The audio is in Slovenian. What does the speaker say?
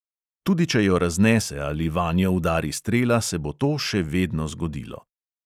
Tudi če jo raznese ali vanjo udari strela, se bo to še vedno zgodilo.